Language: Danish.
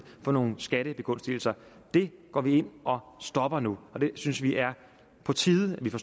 få nogle skattebegunstigelser det går vi ind og stopper nu og vi synes det er på tide at vi får